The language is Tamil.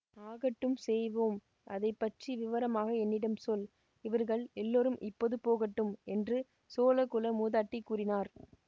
ஆகட்டும் செய்வோம் அதை பற்றி விவரமாக என்னிடம் சொல் இவர்கள் எல்லாரும் இப்போது போகட்டும் என்று சோழகுல மூதாட்டி கூறினார்